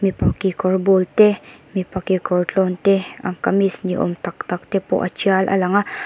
mipa kekawr bûl te mipa kekawr tlâwn te an kamis ni âwm tak takte pawh a ṭial a lang a.